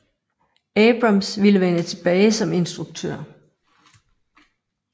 Abrams ville vende tilbage som instruktør